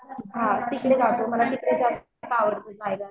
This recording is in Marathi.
हां तिकडे जातो मला तिकडे जास्त आवडतं जायला.